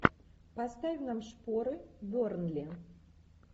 поставь нам шпоры бернли